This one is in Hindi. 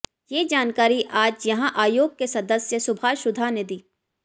ये जानकारी आज यहां आयोग के सदस्य सुभाष सुधा ने दी